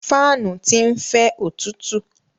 Fáànù ti ń fẹ́ òtútú.